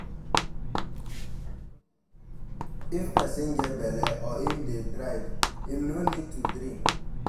If person get belle or im dey drive, im no need to drink